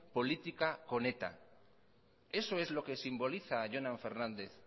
política con eta eso es lo que simboliza jonan fernández